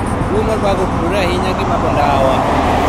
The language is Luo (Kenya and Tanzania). Tuwo mar Buerger otudore ahinya gi madho ndawa.